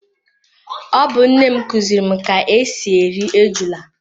Ọ bu nnem kuziri m ka ka esi eri ejula